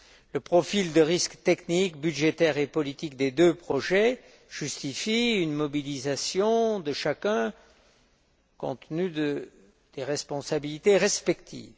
Le profil de risques techniques, budgétaires et politiques des deux projets justifient une mobilisation de chacun, compte tenu des responsabilités respectives.